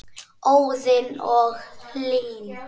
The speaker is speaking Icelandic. Óðinn og Hlín.